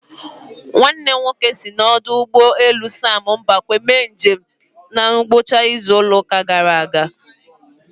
Nwannem nwoke si n'ọdụ ụgbọ elu sam mbakwe mee njem na ngwụcha izu ụka gara aga